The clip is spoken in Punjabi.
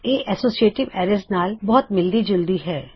ਇਹ ਐਸੋਸ਼ੀਏਟਿਵ ਐਰੇ ਨਾਲ ਬਹੁਤ ਮਿਲਦੀ ਜੁਲਦੀ ਹੈ